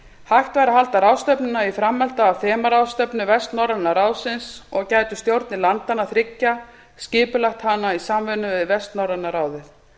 hægt væri að halda ráðstefnuna í framhaldi af þemaráðstefnu vestnorræna ráðsins og gætu stjórnir landanna þriggja skipulagt hana í samvinnu við vestnorræna ráðið